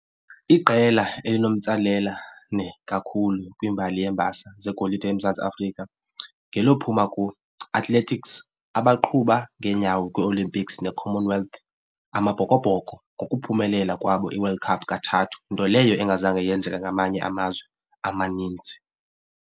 Iqela elinomtsalelane kakhulu kwimbali yeembasa zegolide eMzantsi Afrika ngelophuma ku-athletics abaqhuba ngeenyawo kwii-olympics ne-common wealth. Amabhokobhoko ngokuphumelela kwabo iWorld Cup kathathu nto leyo engazange yenzeka ngamanye amazwe amaninzi.